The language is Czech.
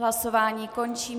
Hlasování končím.